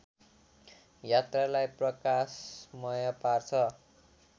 यात्रालाई प्रकाशमय पार्छ